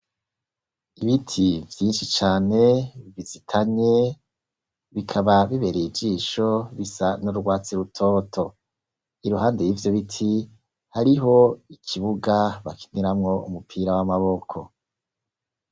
Ibiti vyinshi cane bizitanye bikaba bibereye ijisho bisa n'urwatsi rutoto, iruhande y'ivyo biti hariho ikibuga bakiniramwo umupira w'amaboko.